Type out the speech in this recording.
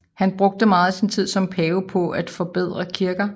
Han brugte meget af sin tid som pave på et forbedre kirker